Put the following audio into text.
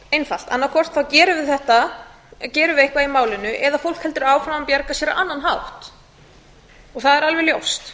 einfalt annaðhvort gerum við eitthvað í málinu eða fólk heldur áfram að bjarga sér á annan hátt það er alveg ljóst